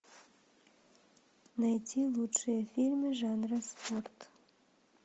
найти лучшие фильмы жанра спорт